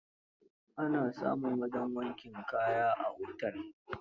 Ana samun wajen wankin kaya a otel